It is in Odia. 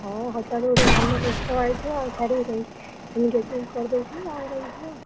ହଁ ହଠାତ ଗୋଟେ ଭଲ ପସ୍ତାବ ଆଇଥିବ ଆଉ ଛାଡ଼ିବେ କାହିଁକି engagement କରିଦେଇଥିବେ ବାହାଘର ହେଇଯିବ।